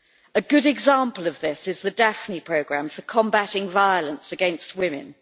A good example of this is the Daphne programme for combating violence against women.